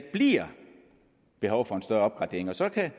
bliver behov for en større opgradering så kan